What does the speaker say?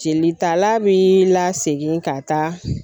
Jelitala b'i lasegin ka taa.